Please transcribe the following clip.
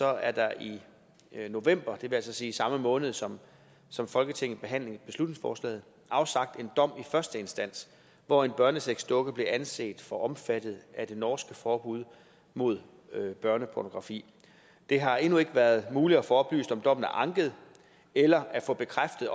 er der i november vil altså sige i samme måned som som folketinget behandlede beslutningsforslaget afsagt en dom i første instans hvor en børnesexdukke blev anset for omfattet af det norske forbud mod børnepornografi det har endnu ikke været muligt at få oplyst om dommen er anket eller at få bekræftet